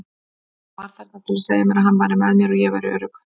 Hann var þarna til að segja mér að hann væri með mér, ég væri örugg.